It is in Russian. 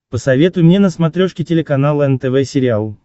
посоветуй мне на смотрешке телеканал нтв сериал